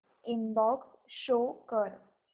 inbox show कर